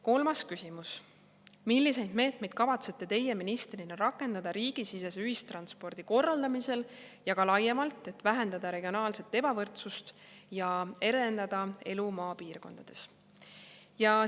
Kolmas küsimus: "Milliseid meetmeid kavatsete Teie ministrina rakendada riigisisese ühistranspordi korraldamisel ja ka laiemalt, et vähendada regionaalset ebavõrdsust ja edendada elu maapiirkondades?